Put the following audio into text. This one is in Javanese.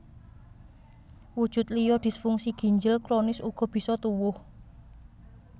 Wujud liya disfungsi ginjel kronis uga bisa tuwuh